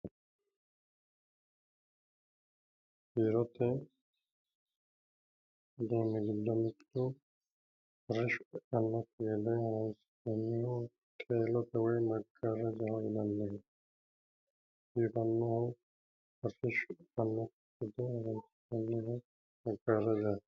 biirote uduunni giddo mittu arrishsho eannokki gede horonsi'nanniho qeelote woyi maggaarrajaho yinanniho biifannoho arrishsho eannokki gede gargarannoho.